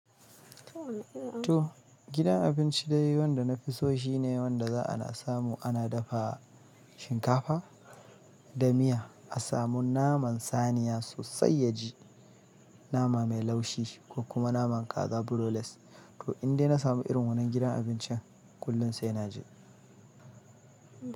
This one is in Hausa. To gidan abinci daya wanda na fi so shine wanda za ana samu ana dafa shinkafa da miya a samu naman saniya sosai ya ji nama mai laushi ko kuma naman kaza broilest. To indai na samu irin wannan gidan abincin kullum sai na je.